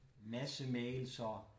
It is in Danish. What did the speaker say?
Masse mails og